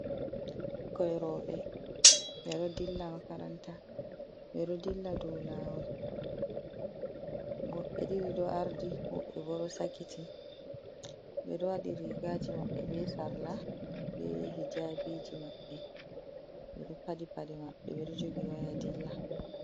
Ɓikkoi roɓɓe ɓeɗo dilla makaranta, ɓe ɗo dilla dou lawol woɓɓe ɗiɗi ɗo ardi, woɓɓe bo ɗo sakiti, ɓe ɗo waɗi rigaji maɓɓe be sarla be hijabiji mabbe, ɓeɗo padi paɗe maɓɓe, ɓeɗo jogi waya dilla.